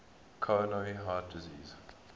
coronary heart disease